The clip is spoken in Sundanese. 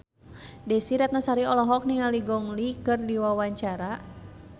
Desy Ratnasari olohok ningali Gong Li keur diwawancara